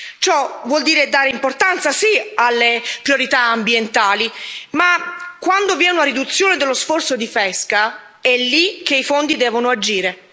Ciò vuol dire dare importanza, sì, alle priorità ambientali, ma quando vi è una riduzione dello sforzo di pesca, è lì che i fondi devono agire.